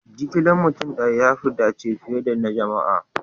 Jigilan mutum daya ya fi dace fiye da na jama'a.